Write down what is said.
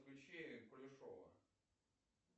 включи кулешова